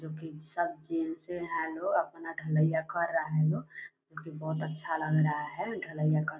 जो कि सब जेल से हैं वो अपना ढ़लैया कर रहा है लोग जो कि बहुत अच्छा लग रहा है ढ़लैया कर --